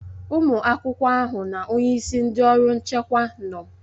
Ụmụ akwụkwọ ahụ na onyeisi ndị ọrụ nchekwa nọ.